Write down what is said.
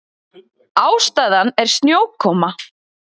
Ástæðan er snjókoma